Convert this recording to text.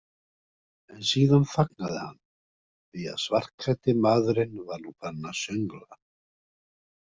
En síðan þagnaði hann, því að svartklæddi maðurinn var nú farinn að söngla.